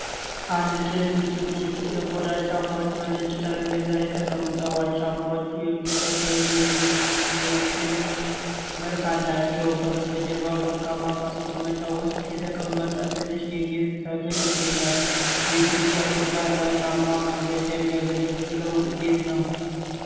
አንድ ጥንድ ጥቁር የቆዳ ጫማዎች በነጭ ጠረጴዛ ላይ ተቀምጠዋል። ጫማዎቹ የቢዝነስ ወይም የቄንጥ መልክ አላቸው። ከበስተጀርባ በወርቃማ ማስቀመጫ ውስጥ የተቀመጠ ትንሽ የጌጥ ተክል ይገኛል። በኢትዮጵያ ቆዳ ለጫማ ማምረቻ የሚያገለግለው እንዴት ነው?